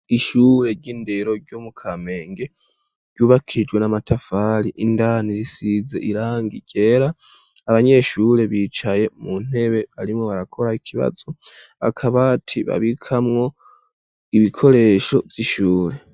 Ishure ry'indero, ryo mu Kamenge, ryubakishijwe n'amatafari; indani risize irangi ryera, abanyeshure bicaye mu ntebe, barimwo barakora ikibazo; akabati babikamwo, ibikoresho vy'ishure.